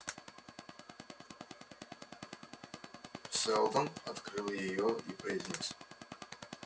сэлдон открыл её и произнёс